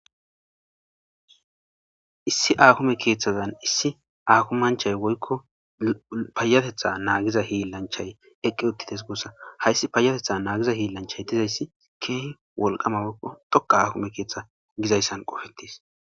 Issi akime keeththazan issi akimanchchay woykko paayatetha naagiza hiillanchay eqqi uttidees gussa hayssi payatetha naagiza hiillanchchay dizayssi keehi wolqama woykko dhoqqa akimme keeththa gizayssan ooththees